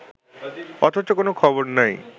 অথচ কোনো খবর নেই